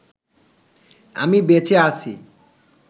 আমি বেঁচে আছি